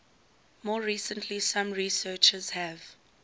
more recently some researchers have